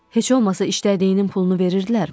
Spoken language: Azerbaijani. Heç olmasa işlədiyinin pulunu verirdilərmi?